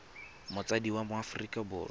motsadi wa mo aforika borwa